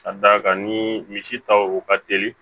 Ka d'a kan ni misi taw ka teli